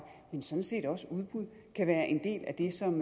men sådan set også udbud kan være en del af det som